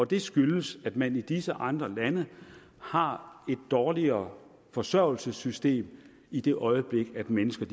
det skyldes at man i disse andre lande har et dårligere forsørgelsessystem i det øjeblik mennesker